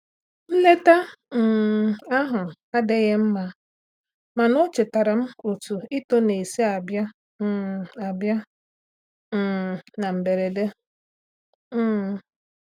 Nleta um ahụ adịghị mma, mana o chetaara m otú ito na-esi abịa um abịa um na mberede. um